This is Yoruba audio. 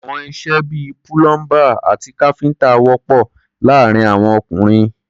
Àwọn iṣẹ́ bí i púlọ́ḿbà àti káfíńtà wọ̀pọ̀ láàárín àwọn ọkùnrin.